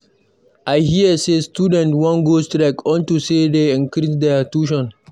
I hear say students wan go strike unto say dey increase their tuition.